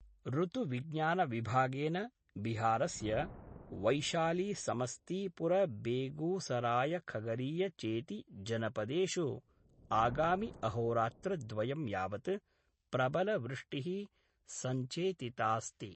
ऋतुविज्ञानविभागेन बिहारस्य वैशालीसमस्तीपुरबेगूसरायखगरीया चेति जनपदेषु आगामि अहोरात्रद्वयं यावत् प्रबल वृष्टिः संचेतितास्ति।